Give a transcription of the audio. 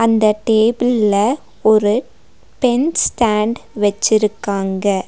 இந்த டேபிள்ல ஒரு பென் ஸ்டேண்ட் வெச்சிருக்காங்க.